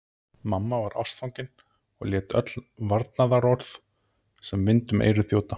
Mamma var ástfangin og lét öll varnaðarorð sem vind um eyru þjóta.